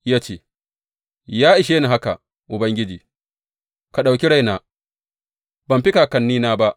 Ya ce, Ya ishe ni haka, Ubangiji, ka ɗauki raina; ban fi kakannina ba.